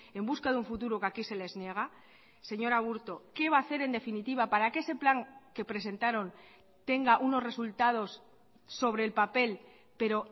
en busca de un futuro que aquí se les niega señor aburto qué va ha hacer en definitiva para que ese plan que presentaron tenga unos resultados sobre el papel pero